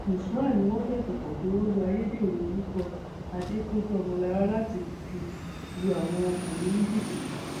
usman ni wọn fẹsùn kàn pé ó lo ayédèrú orúkọ adẹpéjú ọmọlára láti máa fi lu àwọn ọkùnrin ní jìbìtì